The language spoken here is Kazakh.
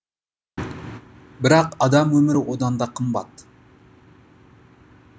бірақ адам өмірі одан да қымбат